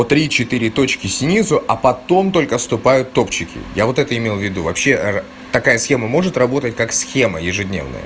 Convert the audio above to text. три четыре точки снизу а потом только вступают топовые я вот это имел в виду вообще такая схема может работать как схема ежедневная